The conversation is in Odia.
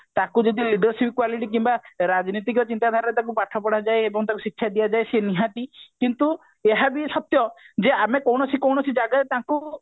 ତାକୁ ଯଦି ବେଶୀ quality କିମ୍ବା ରାଜନୀତିଜ୍ଞ ଚିନ୍ତାଧାରାରେ ତାକୁ ପାଠ ପଢା ଯାଏ ଏବଂ ତାକୁ ଶିକ୍ଷା ଦିଆ ଯାଏ ତେବେ ସେ ନିହାତି କିନ୍ତୁ ଏହା ବି ସତ୍ୟ ଯେ ଆମେ କୋଣସି କୋଣସି ଜାଗାରେ ତାକୁ